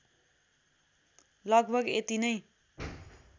लगभग यति नै